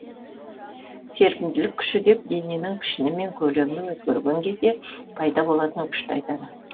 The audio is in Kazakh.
серпімділік күші деп дененің пішіні мен көлемі өзгерген кезде пайда болатын күшті айтады